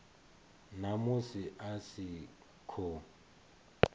na musi a si ho